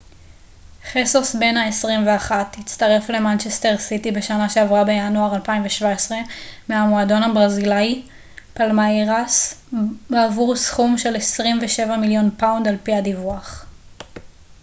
חסוס בן ה 21 הצטרף למנצ'סטר סיטי בשנה שעברה בינואר 2017 מהמועדון הברזילאי פאלמייראס בעבור סכום של 27 מיליון פאונד על פי הדיווח